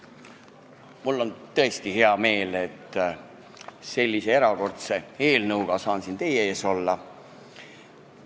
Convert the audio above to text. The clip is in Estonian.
Mul on tõesti hea meel, et ma saan sellise erakordse eelnõuga siin teie ees olla.